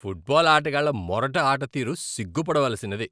Football ఆటగాళ్ళ మొరటు ఆటతీరు సిగ్గుపడవలసినది.